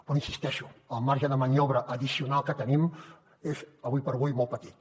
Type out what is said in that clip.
però hi insisteixo el marge de maniobra addicional que tenim és ara com ara molt petit